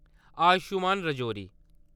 आयुष्मान-रजौरी